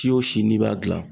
Si o si n'i b'a dilan.